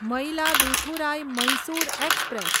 Mayiladuthurai Mysore express